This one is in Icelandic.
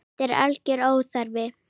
Þetta er algjör óþarfi.